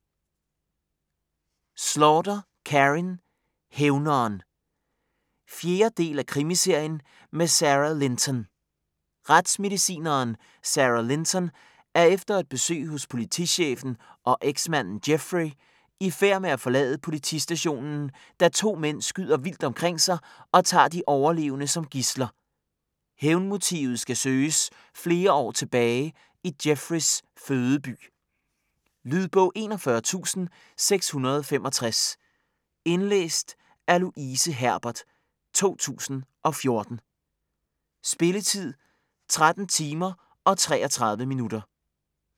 Slaughter, Karin: Hævneren 4. del af krimiserien med Sara Linton. Retsmedicineren Sara Linton er efter et besøg hos politichefen og eksmanden Jeffrey i færd med at forlade politistationen, da to mænd skyder vildt omkring sig og tager de overlevende som gidsler. Hævnmotivet skal søges flere år tilbage i Jeffreys fødeby. Lydbog 41665 Indlæst af Louise Herbert, 2014. Spilletid: 13 timer, 33 minutter.